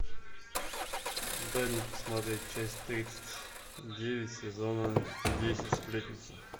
дай мне посмотреть часть тридцать девять сезона девять сплетница